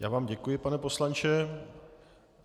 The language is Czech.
Já vám děkuji, pane poslanče.